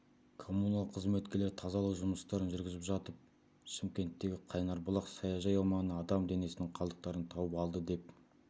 коммунал қызметкерлері тазалық жұмыстарын жүргізіп жатып шымкенттегі қайнарбұлақ саяжай аумағынан адам денесінің қалдықтарын тауып алды деп